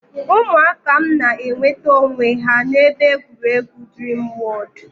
Ụmụaka m na-enweta onwe ha n'ebe egwuregwu Dreamworld.